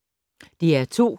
DR2